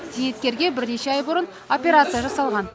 зейнеткерге бірнеше ай бұрын операция жасалған